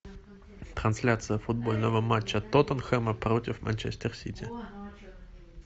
трансляция футбольного матча тоттенхэма против манчестер сити